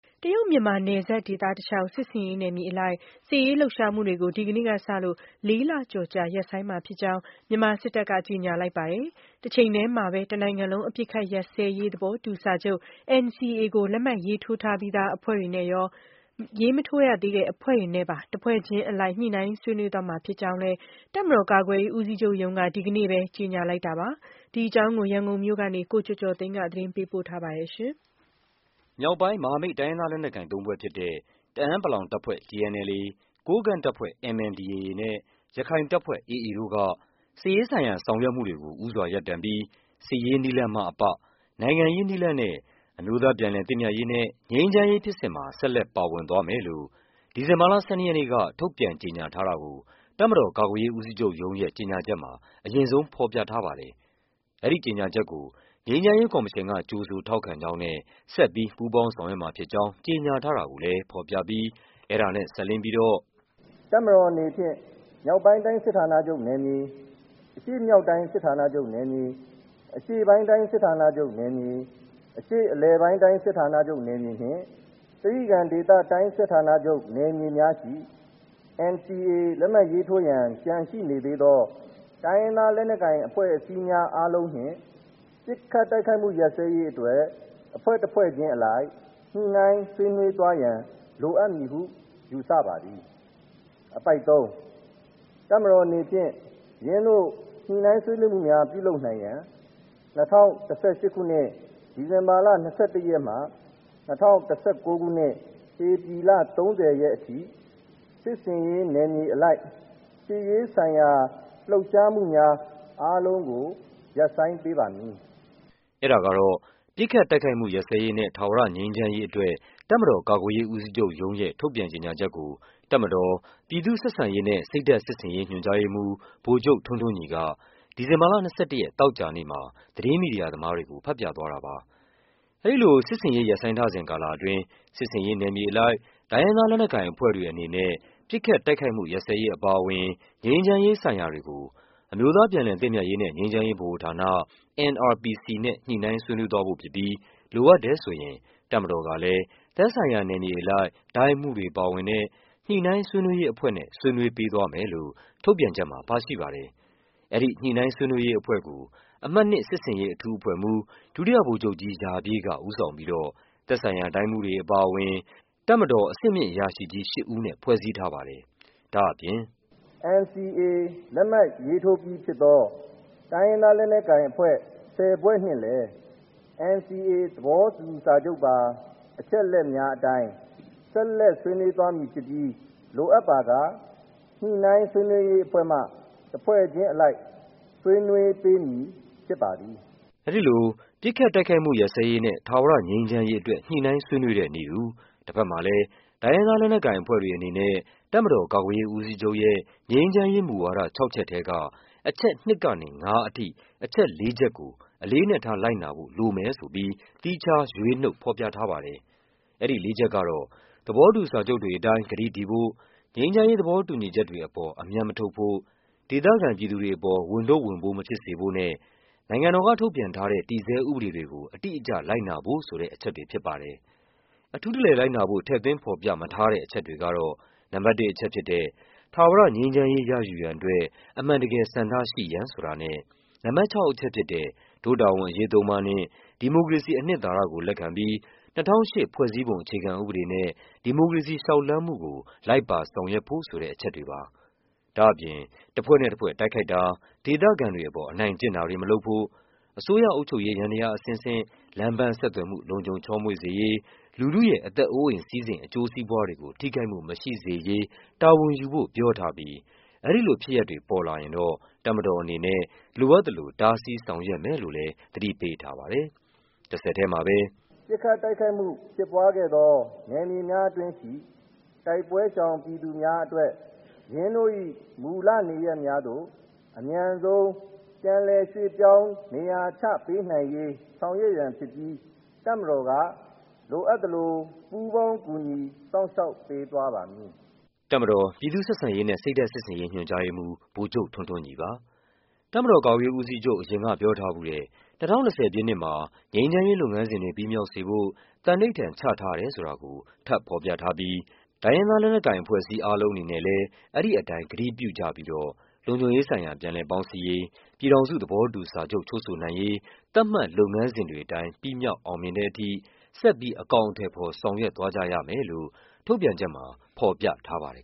တရုတ်-မြန်မာနယ်စပ်ဒေသတလျှောက် စစ်ဆင်ရေးနယ်မြေအလိုက် စစ်ရေးလှုပ်ရှားမှုတွေကို ဒီနေ့ကစလို့ ၄ လ ကျော်ကြာ ရပ်ဆိုင်းမှာဖြစ်ကြောင်း မြန်မာစစ်တပ်က ကြေညာလိုက်ပါတယ်။ တချိန်တည်းမှာပဲ တနိုင်ငံလုံး အပစ်အခတ်ရပ်စဲရေး သဘောတူစာချုပ် NCA ကို လက်မှတ်ရေးထိုးထားပြီးသား အဖွဲ့တွေနဲ့ရော၊ မထိုးရ သေး တဲ့ အဖွဲ့တွေနဲ့ပါ တဖွဲ့ချင်းအလိုက် ညှိနှိုင်းဆွေးနွေးသွားမှာ ဖြစ်ကြောင်းလည်း တပ်မတော် ကာကွယ်ရေး ဦးစီးချုပ်ရုံးက ဒီနေ့ပဲ ကြေညာလိုက်တာပါ။ဒီအကြောင်း ရန်ကုန်မြို့ကနေ ကိုကျော်ကျော်သိန်းက သတင်းပေးပို့ထားပါတယ်။ မြောက်ပိုင်း မဟာမိတ် တိုင်းရင်းသားလက်နက်ကိုင် သုံးဖွဲ့ဖြစ်တဲ့ တအာင်း ပလောင်တပ်ဖွဲ့ (TNLA) ၊ ကိုးကန့် တပ်ဖွဲ့ (MNDAA) နဲ့ ရခိုင်တပ်ဖွဲ့ (AA) တို့က စစ်ရေးဆိုင်ရာဆောင်ရွက်မှုတွေကို ဦးစွာရပ်တန့်ပြီး စစ်ရေး နည်းလမ်းမှအပ နိုင်ငံရေးနည်းလမ်းနဲ့ အမျိုးသား ပြန်လည်သင့်မြတ်ရေးနဲ့ ငြိမ်းချမ်းရေး ဖြစ်စဉ်မှာ ဆက်လက် ပါဝင်သွားမယ်လို့ ဒီဇင်ဘာလ ၁၂ ရက်နေ့က ထုတ်ပြန်ကြေညာထားတာကို တပ်မတော်ကာကွယ်ရေး ဦးစီး ချုပ်ရုံးရဲ့ ကြေညာချက်မှာ အရင်ဆုံး ဖော်ပြထားပါတယ်။ အဲဒီ ကြေညာချက်ကို ငြိမ်းချမ်းရေးကော်မရှင်က ကြိုဆိုထောက်ခံကြောင်းနဲ့ ဆက်ပြီး ပူးပေါင်းဆောင်ရွက်မှာ ဖြစ်ကြောင်း ကြေညာထားတာကိုလည်း ဖော်ပြပြီး အဲဒါနဲ့ စပ်လျဉ်းပြီးတော့ - “တပ်မတော်အနေဖြင့် မြောက်ပိုင်းတိုင်း စစ်ဌာနချုပ်နယ်မြေ၊ အရှေ့မြောက်တိုင်း စစ်ဌာနချုပ်နယ်မြေ၊ အရှေ့ ပိုင်းတိုင်း စစ်ဌာနချုပ်နယ်မြေ၊ အရှေ့အလယ်ပိုင်းတိုင်း စစ်ဌာနချုပ်နယ်မြေနှင့် တြိဂံဒေသတိုင်း စစ်ဌာနချုပ် နယ်မြေများရှိ NCA လက်မှတ်ရေးထိုးရန် ကျန်ရှိနေသေးသော တိုင်းရင်းသား လက်နက်ကိုင် အဖွဲ့အစည်းများ အားလုံးနှင့် ပစ်ခတ်တိုက်ခိုက်မှု ရပ်စဲရေးအတွက် အဖွဲ့တဖွဲ့ချင်းအလိုက် ညှိနှိုင်းဆွေးနွေးသွားရန် လိုအပ်မည်ဟု ယူဆပါသည်။ အပိုဒ် (၃)။ ။ တပ်မတော်အနေဖြင့် ယင်းသို့ ညှိနှိုင်းဆွေးနွေးမှုများ ပြုလုပ်နိုင်ရန် ၂၀၁၈ ခုနှစ်၊ ဒီဇင်ဘာလ ၂၁ ရက်မှ ၂၀၁၉ ခုနှစ် ဧပြီလ ၃၀ ရက်အထိ စစ်ဆင်ရေးနယ်မြေအလိုက် စစ်ရေးဆိုင်ရာ လှုပ်ရှားမှုများအားလုံးကို ရပ်ဆိုင်းပေးပါမည်။” အဲဒါကတော့ ပစ်ခတ်တိုက်ခိုက်မှု ရပ်စဲရေးနဲ့ ထာဝရငြိမ်းချမ်းရေးအတွက် တပ်မတော်ကာကွယ်ရေး ဦးစီးချုပ်ရုံး ရဲ့ထုတ်ပြန်ကြေညာချက်ကို တပ်မတော် ပြည်သူ့ဆက်ဆံရေးနဲ့ စိတ်ဓာတ် စစ်ဆင် ရေးညွှန်ကြားရေးမှူး ဗိုလ်ချုပ် ထွန်းထွန်းညီက ဒီဇင်ဘာလ ၂၁ ရက်၊ သောကြာနေ့မှာ သတင်း မီဒီယာ သမားတွေကို ဖတ်ပြသွားတာပါ။ အဲဒီလိုစစ်ဆင်ရေးရပ်ဆိုင်းထားစဉ်ကာလအတွင်း စစ်ဆင်ရေးနယ်မြေအလိုက် တိုင်းရင်းသား လက်နက်ကိုင် အဖွဲ့တွေ အနေနဲ့ ပစ်ခတ် တိုက်ခိုက်မှုရပ်စဲရေးအပါအဝင် ငြိမ်းချမ်းရေး ဆိုင်ရာတွေကို အမျိုးသား ပြန်လည် သင့်မြတ်ရေးနဲ့ ငြိမ်းချမ်းရေးဗဟိုဌာန (NRPC) နဲ့ ညှိနှိုင်း ဆွေးနွေးသွားဖို့ဖြစ်ပြီး လိုအပ်တယ်ဆိုရင် တပ်မတော်ကလည်း သက်ဆိုင်ရာနယ်မြေအလိုက် တိုင်းမှူးတွေပါဝင်တဲ့ ညှိနှိုင်း ဆွေးနွေးရေးအဖွဲ့နဲ့ ဆွေးနွေးပေးသွားမယ်လို့ ထုတ်ပြန်ချက်မှာပါရှိပါတယ်။ အဲဒီ ညှိနှိုင်းဆွေးနွေးရေးအဖွဲ့ကို ဒုတိယဗိုလ်ချုပ်ကြီး ရာပြည့် က ဦးဆောင်ပြီးတော့ သက်ဆိုင်ရာ တိုင်းမှူးတွေအပါအဝင် တပ်မတော်အဆင့်မြင့်အရာရှိကြီး ၈ ဦးနဲ့ ဖွဲ့စည်းထားပါတယ်။ ဒါ့အပြင် - “NCA လက်မှတ်ရေးထိုးပြီးဖြစ်သော တိုင်းရင်းသားလက်နက်ကိုင်အဖွဲ့ ၁၀ ဖွဲ့နှင့်လည်း NCA သဘောတူ စာချုပ်ပါ အချက်အလက်များအတိုင်း ဆက်လက် ဆွေးနွေးသွားမည်ဖြစ်ပြီး လိုအပ်ပါက ညှိနှိုင်းဆွေးနွေးရေး အဖွဲ့မှ တဖွဲ့ချင်းအလိုက် ဆွေးနွေးပေးမည်ဖြစ်ပါသည်။” အဲဒီလို ပစ်ခတ်တိုက်ခိုက်မှုရပ်စဲရေးနဲ့ ထာဝရငြိမ်းချမ်းရေးအတွက် ညှိနှိုင်းဆွေးနွေးတဲ့နည်းတူ တဖက် မှာ လည်း တိုင်းရင်းသားလက်နက်ကိုင်အဖွဲ့တွေအနေနဲ့ တပ်မတော်ကာကွယ်ရေးဦးစီးချုပ်ရဲ့ ငြိမ်းချမ်းရေး မူဝါဒ ၆ ချက်ထဲက အချက် ၂ ကနေ ၅ အထိ အချက် ၄ ချက်ကို အလေးအနက်ထား လိုက်နာဖို့ လိုမယ်ဆိုပြီး သီးခြားရွေးနုတ်ဖော်ပြထားပါတယ်။ အဲဒီလေးချက်ကတော့ သဘောတူစာချုပ်တွေအတိုင်း ကတိတည်ဖို့၊ ငြိမ်းချမ်းရေးသဘောတူညီချက်တွေ အပေါ် အမြတ်မထုတ်ဖို့၊ ဒေသခံ ပြည်သူတွေအပေါ် ဝန်ထုပ်ဝန်ပိုးမဖြစ်စေဖို့နဲ့ နိုင်ငံတော်က ထုတ်ပြန်ထားတဲ့ တည်ဆဲဥပဒေတွေကို တိတိကျကျလိုက်နာဖို့ ဆိုတဲ့ အချက်တွေဖြစ်ပါတယ်။ အထူးတလည်လိုက်နာဖို့ ထည့်သွင်း ဖော်ပြမထားတဲ့ အချက်တွေကတော့ နံပါတ် ၁ အချက်ဖြစ်တဲ့ ထာဝရငြိမ်းချမ်းရေး ရယူရန်အတွက် အမှန်တကယ်ဆန္ဒရှိရန်ဆိုတာနဲ့ နံပါတ် ၆ အချက်ဖြစ်တဲ့ ဒို့တာဝန်အရေးသုံးပါးနှင့် ဒီမိုကရေစီ အနှစ်သာရကို လက်ခံပြီး ၂၀၀၈ ဖွဲ့စည်းပုံအခြေခံဥပဒေနဲ့ ဒီမိုကရေစီလျှောက်လှမ်းမှုကို လိုက်ပါဆောင်ရွက်ဖို့ဆိုတဲ့ အချက်တွေပါ။ ဒါ့အပြင် တဖွဲ့နဲ့တဖွဲ့ တိုက်ခိုက်တာ၊ ဒေသခံတွေအပေါ် အနိုင်ကျင့်တာတွေ မလုပ်ဖို့၊ အစိုးရ အုပ်ချုပ်ရေး ယန္တရားအဆင့်ဆင့်၊ လမ်းပန် ဆက်သွယ်မှုလုံခြုံချောမွေ့စေရေး၊ လူထုရဲ့ အသက် အိုးအိမ် စည်းစိမ် အကျိုး စီးပွားတွေကို ထိခိုက်မှုမရှိစေရေး တာဝန်ယူဖို့ ပြောထားပြီး အဲဒီလို ဖြစ်ရပ်တွေပေါ်လာရင်တော့ တပ်မတော် အနေနဲ့ လိုအပ်သလို တားဆီးဆောင်ရွက်မယ်လို့လည်း သတိပေးထားပါတယ်။ တဆက်တည်းမှာပဲ - “ပစ်ခတ်တိုက်ခိုက်မှုဖြစ်ပွားခဲ့သော နယ်မြေများအတွင်းရှိ တိုက်ပွဲရှောင်ပြည်သူများအတွက် ယင်းတို့၏ မူလနေရပ်များသို့ အမြန်ဆုံး ပြန်လည်ရွှေ့ပြောင်း နေရာချပေးနိုင်ရေး ဆောင်ရွက်ရန်ဖြစ်ပြီး တပ်မတော်က လိုအပ်သလို ပူးပေါင်းကူညီ စောင့်ရှောက်ပေးသွားပါမည်။” တပ်မတော် ပြည်သူ့ဆက်ဆံရေးနဲ့ စိတ်ဓာတ်စစ်ဆင်ရေး ညွှန်ကြားရေးမှူး ဗိုလ်ချုပ်ထွန်းထွန်းညီပါ။ တပ်မတော်ကာကွယ်ရေးဦးစီးချုပ် အရင်ကပြောထားဖူးတဲ့ ၂၀၂၀ ပြည့်နှစ်မှာ ငြိမ်းချမ်းရေးလုပ်ငန်းစဉ် တွေ ပြီးမြောက်စေဖို့ သန္နိဋ္ဌာန်ချ ထားတယ်ဆိုတာကို ထပ်ဖော်ပြထားပြီး တိုင်းရင်းသားလက်နက်ကိုင် အဖွဲ့အစည်း အားလုံးအနေနဲ့လည်း အဲဒီအတိုင်း ကတိပြုကြပြီးတော့ လုံခြုံရေးဆိုင်ရာ ပြန်လည် ပေါင်းစည်းရေး၊ ပြည်ထောင်စု သဘောတူစာချုပ် ချုပ်ဆိုနိုင်ရေး သတ်မှတ်လုပ်ငန်းစဉ်တွေအတိုင်း ပြီးမြောက် အောင်မြင်တဲ့ အထိ ဆက်ပြီး အကောင်အထည်ဖော် ဆောင်ရွက်သွားကြရမယ်လို့ ထုတ်ပြန်ချက်မှာ ဖော်ပြထားပါတယ်